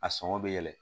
A sɔngɔ bɛ yɛlɛn